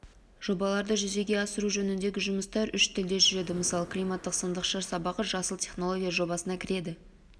жобаларды жүзеге асыру жөніндегі жұмыстар үш тілде жүреді мысалы климаттық сандықша сабағы жасыл технологиялар жобасына кіреді